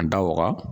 An da waga